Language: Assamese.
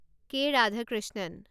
কে. ৰাধাকৃষ্ণণ